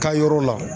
Ka yɔrɔ la